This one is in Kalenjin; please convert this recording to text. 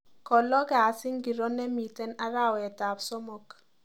Ko loo kasi ngiro nemiten arawetab somok